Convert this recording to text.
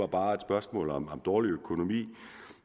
bare er et spørgsmål om dårlig økonomi